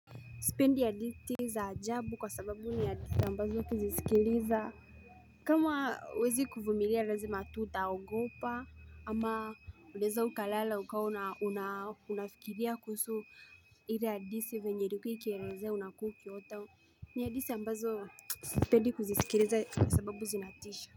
Sipendi hadithi za ajabu kwa sababu ni hadithi ambazo kuzisikiliza kama huwezi kuvumilia lazima tu utaogopa ama unaeza ukalala ukawa na unafikiria kuhusi ile hadithi venye ilikuwa ikielezea unakuwa ukiota ni ya hadithi ambazo sipendi kuzisikiliza kwa sababu zinatisha.